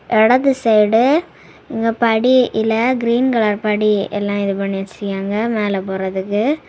இடது சைடு இங்க படி இல்ல கிரீன் கலர் படி எல்லா இது பண்ணி வச்சிருக்காங்க மேல போறதுக்கு.